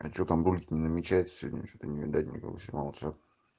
а что там брат не намечается сегодня что-то не видать никого снимался